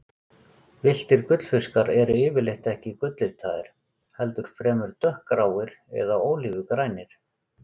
Villtir gullfiskar eru yfirleitt ekki gulllitaðir, heldur fremur dökkgráir eða ólífugrænir.